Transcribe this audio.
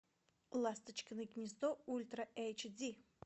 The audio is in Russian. ласточкино гнездо ультра эйч ди